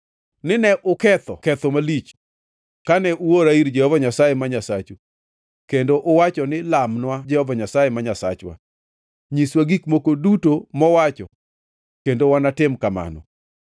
ni ne uketho ketho malich kane uora ir Jehova Nyasaye ma Nyasachu kendo uwacho ni, ‘Lamnwa Jehova Nyasaye ma Nyasachwa; nyiswa gik moko duto mowacho kendo wanatim kamano.’